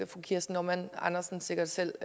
fru kirsten normann andersen sikkert selv